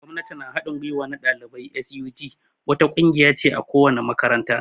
Gwamnati na hadin gwiwa na dalibai (SUG) wata ƙungiya ce a ko wani makaranta.